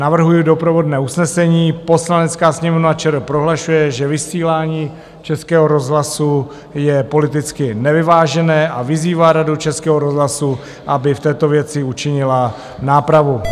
Navrhuji doprovodné usnesení: "Poslanecká sněmovna ČR prohlašuje, že vysílání Českého rozhlasu je politicky nevyvážené, a vyzývá Radu Českého rozhlasu, aby v této věci učinila nápravu."